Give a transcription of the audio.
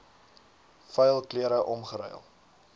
vuil klere omgeruil